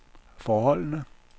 forholdene